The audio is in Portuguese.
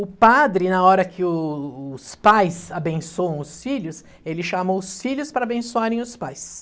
O padre, na hora que o os pais abençoam os filhos, ele chamou os filhos para abençoarem os pais.